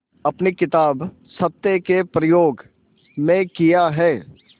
अपनी किताब सत्य के प्रयोग में किया है